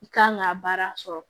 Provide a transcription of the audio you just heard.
I kan ka baara sɔrɔ